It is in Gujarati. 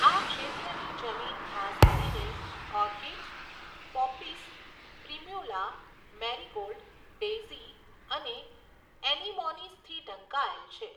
આ ક્ષેત્રની જમીન ખાસ કરીને orchids, poppies, primula, marigold, daisy અને એનીમોનીસથી ઢંકાયેલ છે.